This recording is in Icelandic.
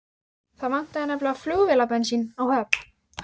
Það vantaði nefnilega flugvélabensín á Höfn.